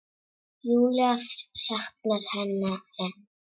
Júlía saknar hennar enn.